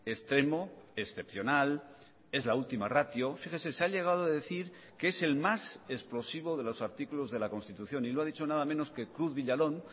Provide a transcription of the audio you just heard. extremo excepcional es la última ratio fíjese se ha llegado a decir que es el más explosivo de los artículos de la constitución y lo ha dicho nada menos que cruz villalón